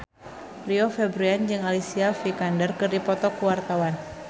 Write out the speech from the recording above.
Rio Febrian jeung Alicia Vikander keur dipoto ku wartawan